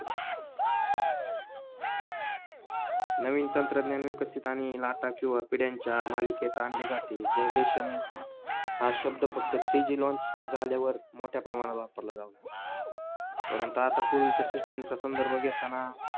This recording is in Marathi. नवीन तंत्रज्ञान विकसित आणि किंवा पिढ्यांच्या मालिकेत आणली जाते generation हा शब्द फक्त थ्री जी लाँच झाल्यावर मोठ्या प्रमाणात वापरला जावा परंतू आता पूर्वीच्या सिस्टिमचा संदर्भ घेताना